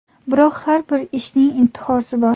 Biroq har bir ishning intihosi bor.